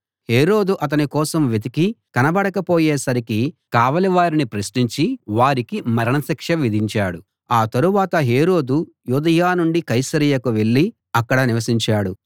హేరోదు అతని కోసం వెతికి కనబడక పోయేసరికి కావలి వారిని ప్రశ్నించి వారికి మరణ శిక్ష విధించాడు ఆ తరువాత హేరోదు యూదయ నుండి కైసరయ వెళ్ళి అక్కడ నివసించాడు